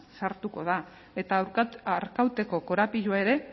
sartuko da eta arkauteko korapiloa ere